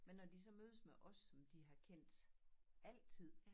Men når de så mødes med os som de har kendt altid